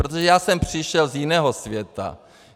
Protože já jsem přišel z jiného světa.